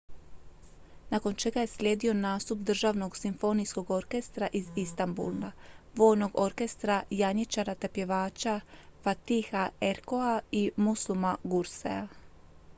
nakon čega je slijedio nastup državnog simfonijskog orkestra iz istambula vojnog orkestra janjičara te pjevača fatiha erkoça i müslüma gürsesa